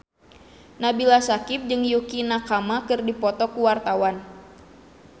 Nabila Syakieb jeung Yukie Nakama keur dipoto ku wartawan